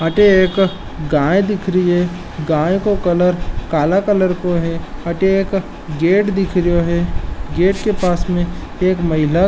अठे एक गाय दिख री है गाय को कलर काला कलर को है अठे एक गेट दिख रेयो है गेट के पास में एक महिला --